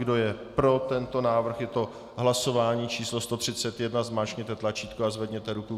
Kdo je pro tento návrh, je to hlasování číslo 131, zmáčkněte tlačítko a zvedněte ruku.